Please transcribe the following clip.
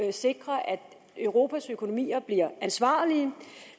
at sikre at europas økonomier bliver ansvarlige